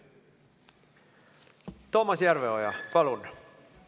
Toomas Järveoja, palun!